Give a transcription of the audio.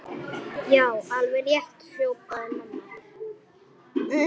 Já, alveg rétt hrópaði mamma.